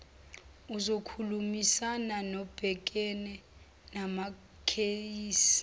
uzokhulumisana nobhekene namakheyisi